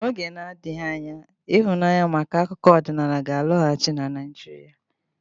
N'oge na-adịghị anya ịhụnanya maka akụkọ ọdịnala ga-alọghachi na Naijiria.